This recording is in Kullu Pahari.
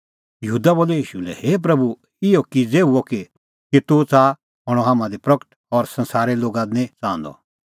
यहूदा बोलअ ईशू लै हे प्रभू इहअ किज़ै हुअ कि तूह च़ाहा हणअ हाम्हां दी प्रगट और संसारे लोगा दी निं च़ाहंदअ